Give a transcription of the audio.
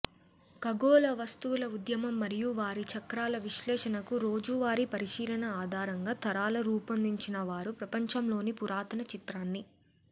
ఖగోళ వస్తువుల ఉద్యమం మరియు వారి చక్రాల విశ్లేషణకు రోజువారీ పరిశీలన ఆధారంగా తరాల రూపొందించినవారు ప్రపంచంలోని పురాతన చిత్రాన్ని